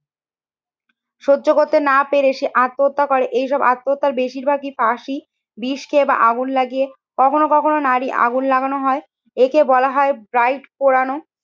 সহ্য করতে না পেরে সে আত্মহত্যা করে এসব আত্মহত্যার বেশিরভাগই ফাঁসি, বিষ খেয়ে বা আগুন লাগিয়ে কখনো কখনো নারী আগুন লাগানো হয় একে বলা হয় ব্রাইড পোড়ানো।